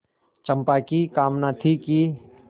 चंपा की कामना थी कि